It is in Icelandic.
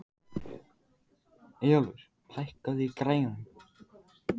Eyjólfur, hækkaðu í græjunum.